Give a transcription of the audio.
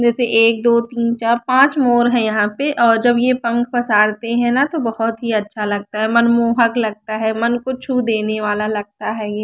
जैसे एक दो तीन चार पांच मोर है यहां पे औ जब ये पंख पसारते हैं न तो बहीत ही अच्छा लगता है मनमोहन लगता है मन को छू देने वाला लगता है ये।